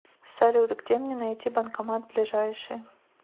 салют где мне найти банкомат ближайший